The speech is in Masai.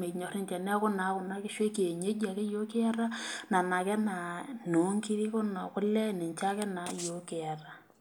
menyor ninche neeku naa kuna kishu ake ekienyeji ninche kiata ,nena ake naa noonkiri onekule ninche ake yiok kiata .